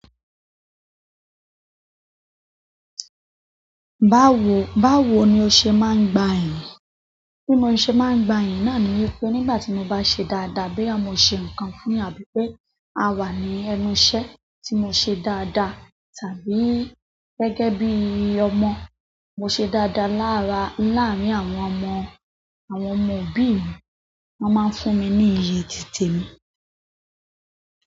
Báwo, báwo ni o ṣe máa ń gba ẹ̀yìn? Bí mo ṣe máa ń gba iyìn náà ni wípé nígbà tí mo bá ṣe dáadáa boya mo ṣe nǹkan ni àbí pé a wà ní ẹnu iṣẹ́ tí mo ṣe dáadáa tàbí gẹ́gẹ́ bí ọmọ mo ṣe dáadáa láraa, láàárín àwọn ọmọ, àwọn ọmọ òbí mi, wón máa ń fún mi ní iyì títe mi.